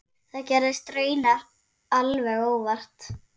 Það gerðist raunar alveg óvart.